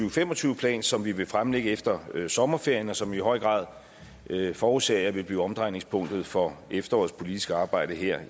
og fem og tyve plan som vi vil fremlægge efter sommerferien og som i høj grad forudser jeg vil blive omdrejningspunktet for efterårets politiske arbejde her